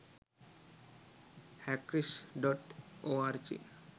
hackrish.org